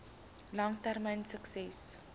lang termyn sukses